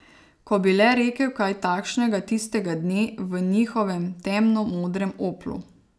Ko bi le rekel kaj takšnega tistega dne v njihovemu temno modrem oplu.